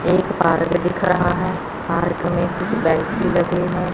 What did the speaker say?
एक पार्क दिख रहा है पार्क में कुछ बेंच भी लगे हैं।